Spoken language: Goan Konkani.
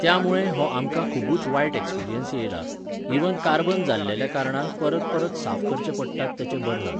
त्यामुळे हो आमकां खुबूच वायट ऍक्सपिरियन्स येयला, इव्हन कार्बन जाल्लेल्या कारणान परत परत साफ करचे पडटात तेचे बर्नल.